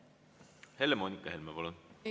Helle-Moonika Helme, palun!